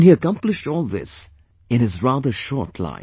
And he accomplished all this in his rather short life